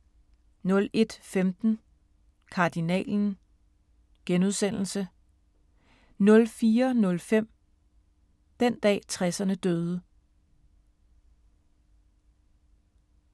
01:15: Kardinalen * 04:05: Den dag 60'erne døde